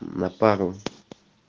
на пару